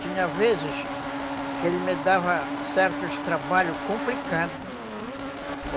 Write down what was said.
Tinha vezes que ele me dava certos trabalhos complicados.